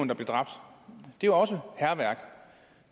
der blev dræbt det var også hærværk